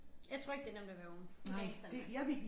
Jeg tror ikke det nemt at være ung i dag sådan der